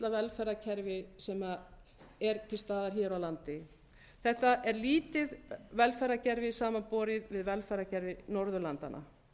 velferðarkerfi sem er til staðar hér á landi þetta er lítið velferðarkerfi samanborið við velferðarkerfi norðurlandanna